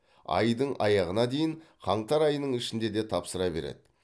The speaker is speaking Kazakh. айдың аяғына дейін қаңтар айының ішінде де тапсыра береді